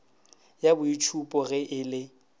ya boitšhupo ge e le